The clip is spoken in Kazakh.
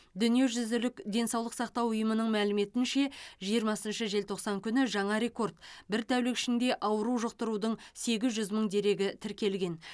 дүниежүзілік денсаулық сақтау ұйымының мәліметінше жиырмасыншы желтоқсан күні жаңа рекорд бір тәулік ішінде ауру жұқтырудың сегіз жүз мың дерегі тіркелген